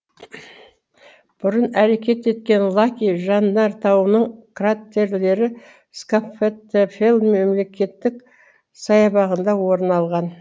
бұрын әрекет еткен лаки жандартауының краттерлері скафтаттафель мемлекеттік саябағында орын алған